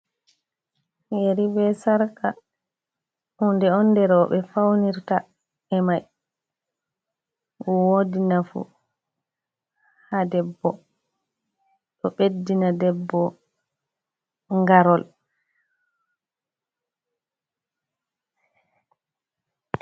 Yeri be sarka hunde on nde roɓe faunirta e'mai. Wodi nafu ha debbo, ɗo ɓeddina debbo ngarol.